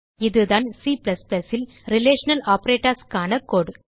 இதுதான் C ல் relational operatorsக்கான கோடு